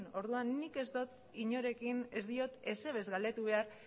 orduan nik ez dut inorekin ez diot ezer galdetu behar